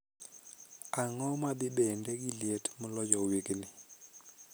Ang'o madhibende gi liet moloyo wigni